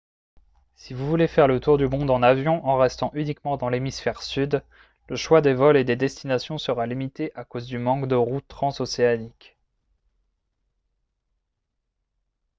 si vous voulez faire le tour du monde en avion en restant uniquement dans l'hémisphère sud le choix des vols et des destinations sera limité à cause du manque de routes transocéaniques